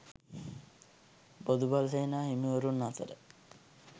බොදු බල සේනා හිමිවරුන් අතර